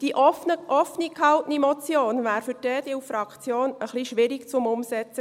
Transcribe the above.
Die offen gehaltene Motion wäre für die EDU-Fraktion etwas schwierig umzusetzen.